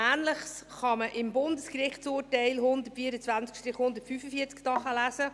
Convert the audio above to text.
Ähnliches kann man im Bundesgerichtsurteil 124 I 145 nachlesen.